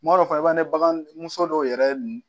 Kuma dɔ la fana i b'a ye baganmuso dɔw yɛrɛ